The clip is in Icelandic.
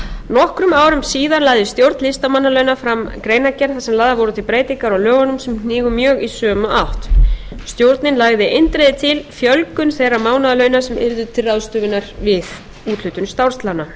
nokkrum árum síðar lagði stjórn listamannalauna fram greinargerð þar sem lagðar voru til breytingar á lögunum sem hnigu mjög í sömu átt stjórnin lagði eindregið til fjölgun þeirra mánaðarlauna sem yrðu til ráðstöfunar við úthlutun starfslauna